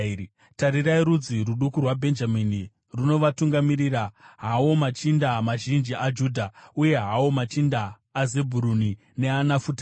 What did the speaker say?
Tarirai, rudzi ruduku rwaBhenjamini runovatungamirira, hawo machinda mazhinji aJudha, uye hawo machinda aZebhuruni neaNafutari.